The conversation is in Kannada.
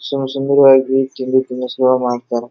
ಸೊ ಸುಂದರವಾಗಿ ತಿಂಡಿ ತಿನಿಸುಗಳನ್ನು ಮಾಡ್ತಾರೆ.